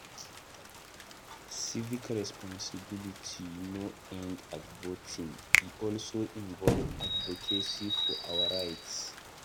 Civic responsibility no end at voting; e also involve advocacy for our rights.